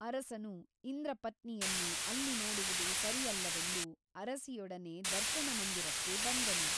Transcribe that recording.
ಅರಸನು ಇಂದ್ರಪತ್ನಿಯನ್ನು ಅಲ್ಲಿ ನೋಡುವುದು ಸರಿಯಲ್ಲವೆಂದು ಅರಸಿಯೊಡನೆ ದರ್ಶನಮಂದಿರಕ್ಕೆ ಬಂದನು.